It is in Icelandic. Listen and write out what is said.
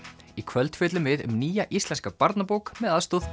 í kvöld fjöllum við um nýja íslenska barnabók með aðstoð